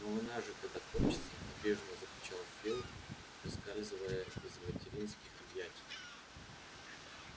но война же тогда кончится обиженно закричал фил выскальзывая из материнских объятий